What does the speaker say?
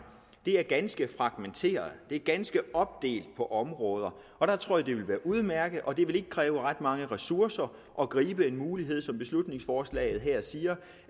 er ganske fragmenteret det er ganske meget opdelt på områder og der tror jeg det vil være udmærket og det vil ikke kræve ret mange ressourcer at gribe en mulighed for som beslutningsforslaget her siger